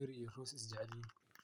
Merry iyo Rooss way isjecelyihin.